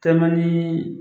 Tɛlimanin.